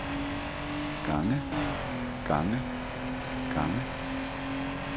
gange gange gange